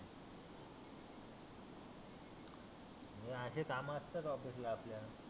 हे आशे काम असतात ऑफिस ला आपल्या